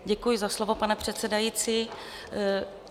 Děkuji za slovo, pane předsedající.